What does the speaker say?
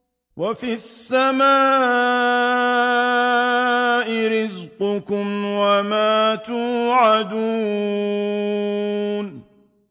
وَفِي السَّمَاءِ رِزْقُكُمْ وَمَا تُوعَدُونَ